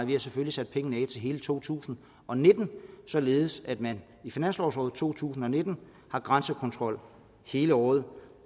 vi har selvfølgelig til hele to tusind og nitten således at man i finanslovåret to tusind og nitten har grænsekontrol hele året